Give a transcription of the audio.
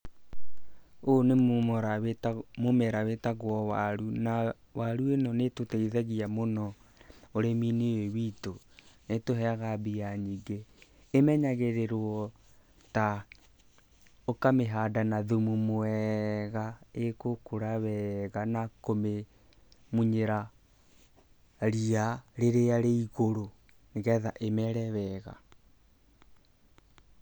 Ũyũ nĩ mũmera wĩtagwo waru, na waru ĩno nĩ ĩtũteithagia mũno ũrĩmi-inĩ ũyũ witũ, nĩ ĩtũhega mbia nyingĩ. Ĩmenyagĩrĩrwo ta; ũkamĩhanda na thumu mwega, ĩgũkũra wega na kũmĩmunyĩra ria rĩrĩa rĩ igũrũ, nĩ getha ĩmere wega.